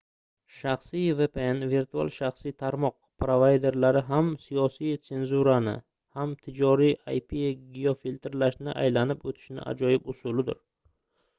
shaxsiy vpn virtual shaxsiy tarmoq provayderlari ham siyosiy senzurani ham tijoriy ip-geofiltrlashni aylanib o'tishning ajoyib usulidir